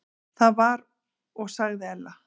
Það var og sagði Ella.